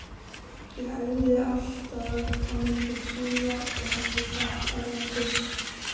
Ég æfði alltaf á milli túra og hafði keppt erlendis.